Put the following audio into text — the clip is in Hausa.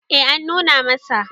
eh an nuna masa